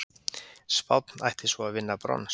Spánn ætti svo að vinna brons